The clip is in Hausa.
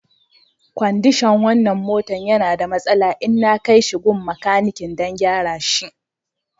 Kwandishan wanan motan ya na da masala, inna kai shi gun makanikin dan gyara shi.